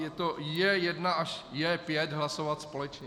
Je to J1 až J5, hlasovat společně.